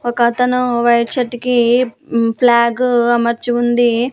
ఒకతను white shirt కి మ్మ్ ఫ్లాగు అమర్చి ఉంది.